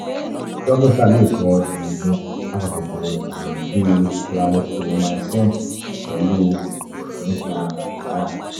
dókítà lè kọ oògùn apakòkòrò ààrùn bíi clarithromycin pẹ̀lú oògùn tí ń fa àìlára